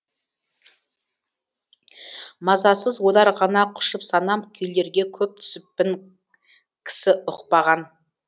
мазасыз ойлар ғана құшып санам күйлерге көп түсіппін кісі ұқпаған